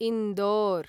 Indore